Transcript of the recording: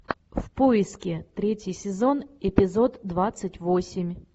в поиске третий сезон эпизод двадцать восемь